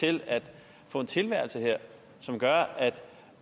til at få en tilværelse her som gør